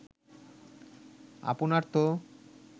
আপনার তো